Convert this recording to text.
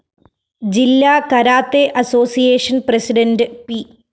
ജില്ലാ karate association president P